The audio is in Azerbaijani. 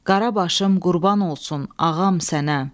Qara başım qurban olsun ağam sənə.